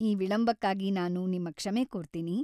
ಈ ವಿಳಂಬಕ್ಕಾಗಿ ನಾನು ನಿಮ್ಮ ಕ್ಷಮೆ ಕೋರ್ತೀನಿ.